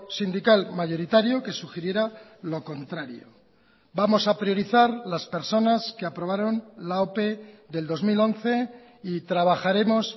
sindical mayoritario que sugiriera lo contrario vamos a priorizar las personas que aprobaron la ope del dos mil once y trabajaremos